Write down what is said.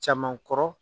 Caman kɔrɔ